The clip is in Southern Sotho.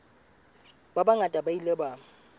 ba bangata ba ile ba